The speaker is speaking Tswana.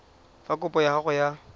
fa kopo ya gago ya